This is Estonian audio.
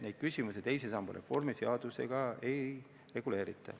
Neid küsimusi teise samba reformi seadusega ei reguleerita.